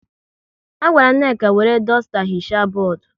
A gwara Nneka wéré dusta hichaa bọọdụ